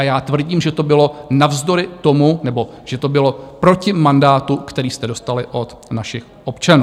A já tvrdím, že to bylo navzdory tomu, nebo že to bylo proti mandátu, který jste dostali od našich občanů.